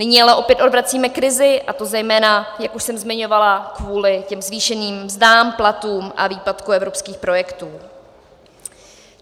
Nyní ale opět odvracíme krizi, a to zejména, jak už jsem zmiňovala, kvůli těm zvýšeným mzdám, platům a výpadku evropských projektů.